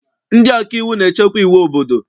Ndị ọkaiwu na-echekwa iwu obodo.